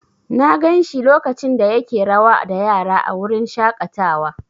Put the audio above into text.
Na gan shi lokacin da yake rawa da yara a wurin shaƙatawa.